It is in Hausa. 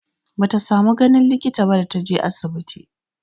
Bata samu ganin likita ba da ta je asibiti.